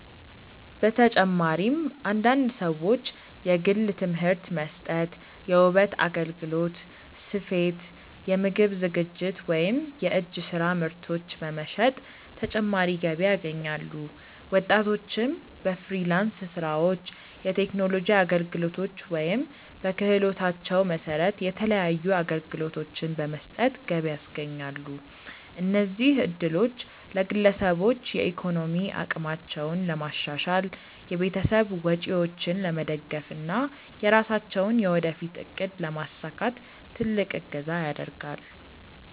በተጨማሪም አንዳንድ ሰዎች የግል ትምህርት መስጠት፣ የውበት አገልግሎት፣ ስፌት፣ የምግብ ዝግጅት ወይም የእጅ ስራ ምርቶች በመሸጥ ተጨማሪ ገቢ ያገኛሉ። ወጣቶችም በፍሪላንስ ስራዎች፣ የቴክኖሎጂ አገልግሎቶች ወይም በክህሎታቸው መሰረት የተለያዩ አገልግሎቶችን በመስጠት ገቢ ያስገኛሉ። እነዚህ እድሎች ለግለሰቦች የኢኮኖሚ አቅማቸውን ለማሻሻል፣ የቤተሰብ ወጪዎችን ለመደገፍ እና የራሳቸውን የወደፊት እቅድ ለማሳካት ትልቅ እገዛ ያደርጋል።